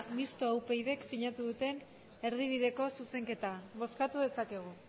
mistoa upydk sinatu duten erdibideko zuzenketa bozkatu dezakegu